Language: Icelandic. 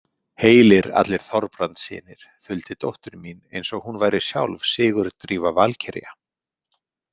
Heilir allir Þorbrandssynir, þuldi dóttir mín eins og hún væri sjálf Sigurdrífa valkyrja.